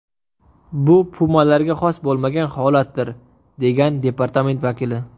Bu pumalarga xos bo‘lmagan holatdir”, degan departament vakili.